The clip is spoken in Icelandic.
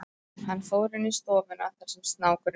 Hann fór inn í stofuna þar sem snákurinn duldist.